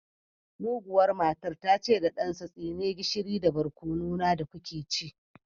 Muguwar matar ta ce wa ɗansa tsine gishiri da barkono na da kuke ci